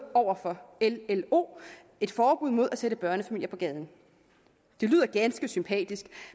over for llo et forbud mod at sætte børnefamilier på gaden det lyder ganske sympatisk